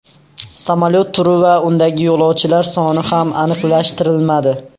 Samolyot turi va undagi yo‘lovchilar soni ham aniqlashtirilmadi.